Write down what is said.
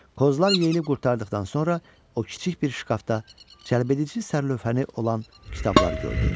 Qozlar yeyilib qurtardıqdan sonra o kiçik bir şkafda cəlbedici sərlövhəni olan kitablar gördü.